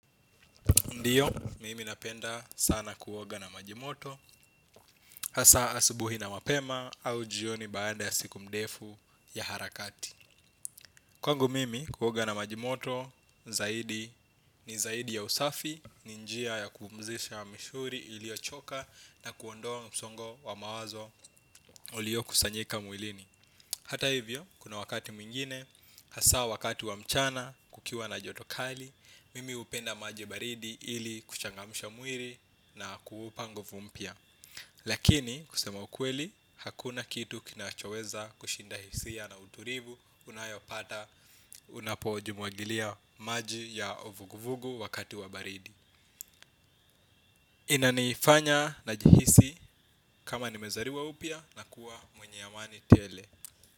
Ndio, mimi napenda sana kuoga na majimoto, hasa asubuhi na mapema au jioni baada ya siku mdefu ya harakati. Kwangu mimi, kuoga na majimoto, zaidi ni zaidi ya usafi, ni njia ya kumzisha mishuri ilio choka na kuondoa msongo wa mawazo ulio kusanyika mwilini. Hata hivyo, kuna wakati mwingine, hasa wakati wa mchana, kukiwa na joto kali, mimi upenda maji baridi ili, kuchangamsha mwiri na kuupa nguvu mpya. Lakini, kusema ukweli, hakuna kitu kinachoweza kushinda hisia na uturivu unayopata unapojumuagilia maji ya ovuguvugu wakati wa baridi. Inanifanya najihisi kama nimezariwa upya na kuwa mwenye amani tele.